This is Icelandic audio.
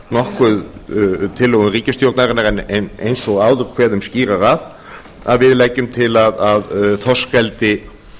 nokkuð tillögum ríkisstjórnarinnar en eins og áður kveðum skýrar að að við leggjum til að þorskeldi